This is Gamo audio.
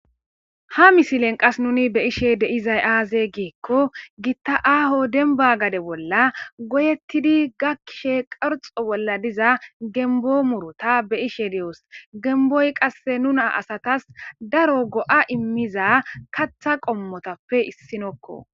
ha misilen qas nuni be ishe deizay aaze giikko gitta aaho denba gade bolla goyettidi gakkishe qarxo bolla diza gembo murota be ishe di7os gemboy qasse nuna asatas daro go7a immiza katha qommotappe issinokko